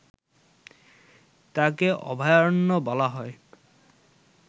তাকে অভয়ারণ্য বলা হয়